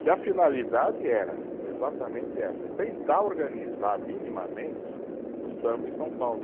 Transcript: Que a finalidade era exatamente essa, tentar organizar minimamente o samba em São Paulo.